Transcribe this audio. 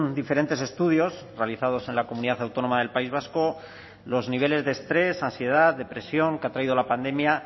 diferentes estudios realizados en la comunidad autónoma del país vasco los niveles de estrés ansiedad depresión que ha traído la pandemia